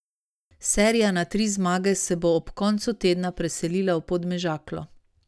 Serija na tri zmage se bo ob koncu tedna preselila v Podmežaklo.